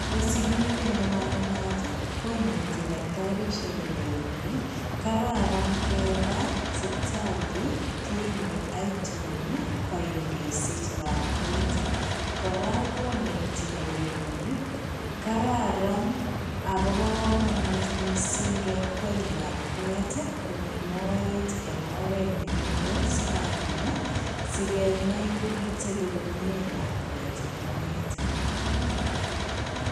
Ngo sigindet ne managat koneti daktarishek koleini kararan ngepaa sipitali clinic aitun kesich lakwet. Kora koneti koleini kararan agobo kamanut missing kekweny lakwet komii mooet eng' oret nekile scanning. Sigenai ngokitebi komiee lakwet eng mooet.